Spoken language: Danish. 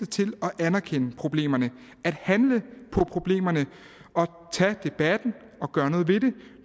til at anerkende problemerne at handle på problemerne og tage debatten og gøre noget ved det